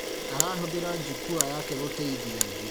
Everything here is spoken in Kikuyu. Arahũthĩra jukua yake gũteithia angĩ